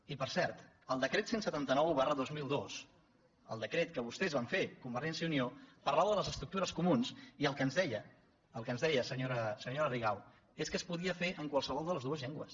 i per cert el decret cent i setanta nou dos mil dos el decret que vostès van fer convergència i unió parlava de les estructures co·munes i el que ens deia senyora rigau és que es podia fer en qualsevol de les dues llengües